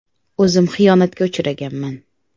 “O‘zim xiyonatga uchraganman.